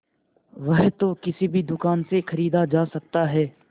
वह तो किसी भी दुकान से खरीदा जा सकता है